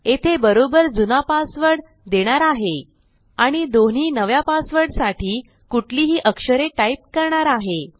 येथे बरोबर जुना पासवर्ड देणार आहे आणि दोन्ही नव्या पासवर्डसाठी कुठलीही अक्षरे टाईप करणार आहे